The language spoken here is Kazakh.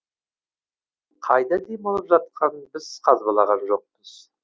қайда демалып жатқанын біз қазбалаған жоқпыз